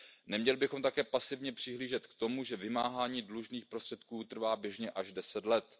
Neměli bychom také pasivně přihlížet tomu, že vymáhání dlužných prostředků trvá běžně až 10 let.